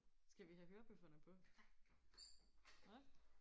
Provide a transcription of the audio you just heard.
Skal vi have hørebøfferne på? Hvad?